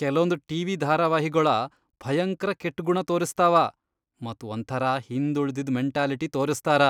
ಕೆಲೊಂದ್ TV. ಧಾರಾವಾಹಿಗೊಳ ಭಯಂಕ್ರ ಕೆಟ್ಗುಣಾ ತೋರಸ್ತಾವ ಮತ್ ಒಂಥರಾ ಹಿಂದ್ ಉಳಿದಿದ್ ಮೆಂಟಾಲಿಟಿ ತೋರಸ್ತಾರ,